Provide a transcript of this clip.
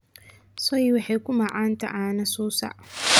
sooe waxay ku macaanta cana susac